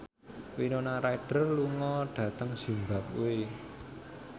Winona Ryder lunga dhateng zimbabwe